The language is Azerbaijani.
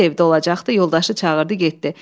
Tofiq də evdə olacaqdı, yoldaşı çağırdı, getdi.